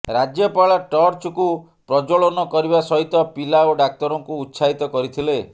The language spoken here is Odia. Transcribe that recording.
ରାଜ୍ୟପାଳ ଟର୍ଚକୁ ପ୍ରଜ୍ଜ୍ବଳନ କରିବା ସହିତ ପିଲା ଓ ଡାକ୍ତରଙ୍କୁ ଉତ୍ସାହିତ କରିଥିଲେ